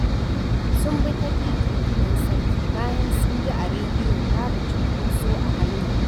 Sun bi ta titin gidan sarki bayan sun ji a rediyo babu cunkoso a hanyar